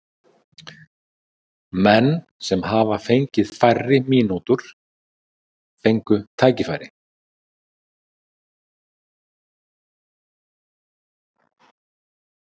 Menn sem hafa fengið færri mínútur fengu tækifæri.